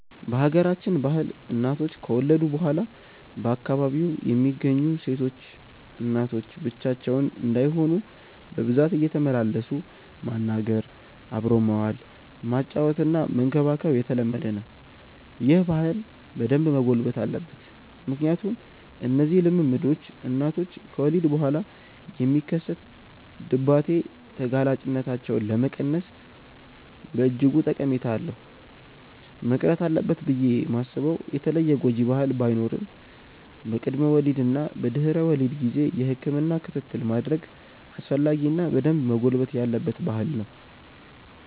በሀገራችን ባህል እናቶች ከወለዱ በኋላ በአካባቢው የሚገኙ ሴቶች እናቶች ብቻቸውን እንዳይሆኑ በብዛት እየተመላለሱ ማናገር፣ አብሮ መዋል፣ ማጫወትና መንከባከብ የተለመደ ነው። ይህ ባህል በደንብ መጎልበት አለበት ምክንያቱም እነዚህ ልምምዶች እናቶች ከወሊድ በኋላ የሚከሰት ድባቴ ተጋላጭነታቸውን ለመቀነስ በእጅጉ ጠቀሜታ አለው። መቅረት አለበት ብዬ ማስበው የተለየ ጎጂ ባህል ባይኖርም በቅድመ ወሊድ እና በድህረ ወሊድ ጊዜ የህክምና ክትትል ማድረግ አስፈላጊ እና በደንብ መጎልበት ያለበት ባህል ነው።